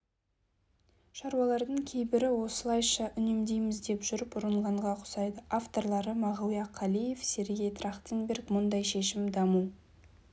шаруалардың кейбірі осылайша үнемдейміз деп жүріп ұрынғанға ұқсайды авторлары мағауия қалиев сергей трахтенберг мұндай шешім даму